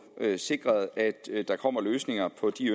sikret at der kommer løsninger på de